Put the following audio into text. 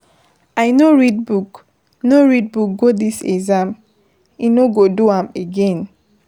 I no read book no read book go dis exam. E no go do am again.